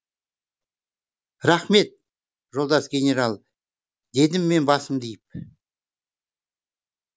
рақмет жолдас генерал дедім мен басымды иіп